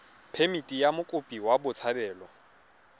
phemithi ya mokopi wa botshabelo